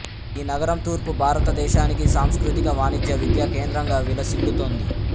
ఈ నగరం తూర్పు భారతదేశానికి సాంస్కృతిక వాణిజ్య విద్యా కేంద్రంగా విలసిల్లుతోంది